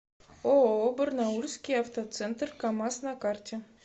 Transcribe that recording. ооо барнаульский автоцентр камаз на карте